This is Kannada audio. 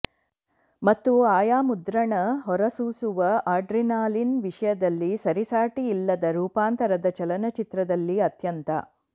ಮತ್ತು ಆಯಾ ಮುದ್ರಣ ಹೊರಸೂಸುವ ಅಡ್ರಿನಾಲಿನ್ ವಿಷಯದಲ್ಲಿ ಸರಿಸಾಟಿಯಿಲ್ಲದ ರೂಪಾಂತರದ ಚಲನಚಿತ್ರದಲ್ಲಿ ಅತ್ಯಂತ